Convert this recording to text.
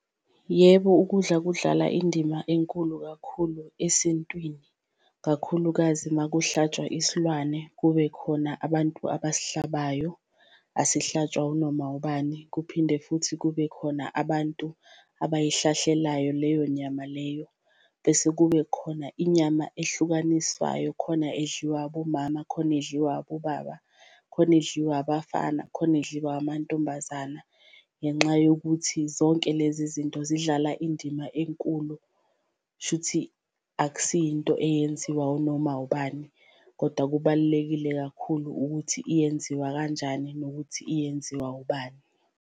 Yebo ukudla kudlala indima enkulu kakhulu esintwini kakhulukazi uma kuhlatshwa isilwane kube khona abantu abasihlabayo, asihlatshwa unoma ubani, kuphinde futhi kube khona abantu abayihlahlelayo leyo nyama leyo. Bese kube khona inyama ehlukaniswayo khona edliwa abomama, khona edliwa abobaba, khona edliwa abafana, khona edliwa amantombazana. Ngenxa yokuthi zonke lezi zinto zidlala indima enkulu shuthi akusiyo into eyenziwa unoma ubani, koda kubalulekile kakhulu ukuthi iyenziwa kanjani nokuthi iyenziwa ubani.